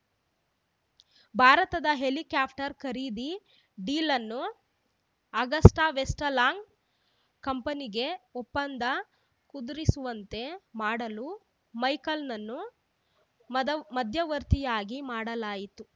ಭಾರತದ helicopter ಖರೀದಿ ಡೀಲನ್ನು ಅಗಸ್ಟಾವೆಸ್ಟ್‌ಲ್ಯಾಂಡ್‌ ಕಂಪನಿಗೇ ಒಪ್ಪಂದ ಕುದುರಿಸುವಂತೆ ಮಾಡಲು ಮೈಕೆಲ್‌ನನ್ನು ಮದವ್ ಮಧ್ಯವರ್ತಿಯಾಗಿ ಮಾಡಲಾಯಿತು